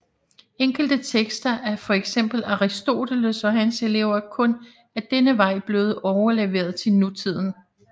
Enkelte tekster af for eksempel Aristoteles og hans elever er kun ad denne vej blevet overleveret til nutiden